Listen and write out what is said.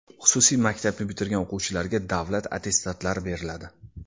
Xususiy maktabni bitirgan o‘quvchilarga davlat attestatlari beriladi.